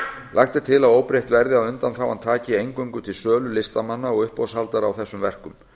lagt er til að óbreytt verði að undanþágan taki eingöngu til sölu listamanna og uppboðshaldara á þessum verkum